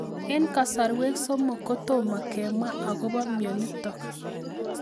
Eng' kasarwek somok kotomo kemwaa akopo mionitok